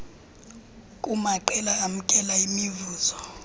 kumaqela amkela imivuzo